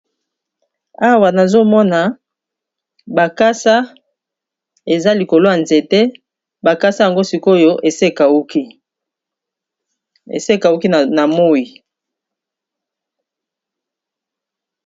awa nazomona bakasa eza likolo ya nzete bakasa yango sikoyo esekauki na moi